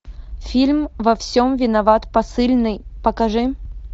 фильм во всем виноват посыльный покажи